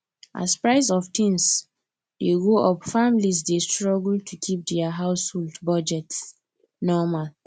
as price of things dey go up families dey struggle to keep dia household budgets normal